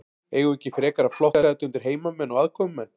Eigum við ekki frekar að flokka þetta undir heimamenn og aðkomumenn?